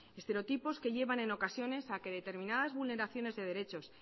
estereotipos que llevan en ocasiones a que determinadas vulneraciones de derechos